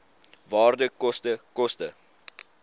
waarde koste koste